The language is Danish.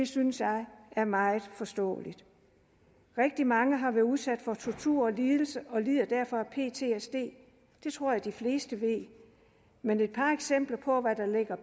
synes jeg er meget forståeligt rigtig mange har været udsat for tortur og lidelse og lider derfor af ptsd det tror jeg de vil fleste ved men et par eksempler på